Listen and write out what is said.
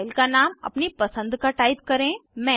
file का नाम अपनी पसंद का टाइप करें